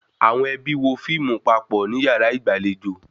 Àwọn ẹbí wo fíìmù papọ̀ ní yàrá ìgbàlejò